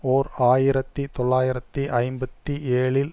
ஓர் ஆயிரத்தி தொள்ளாயிரத்தி ஐம்பத்தி ஏழில்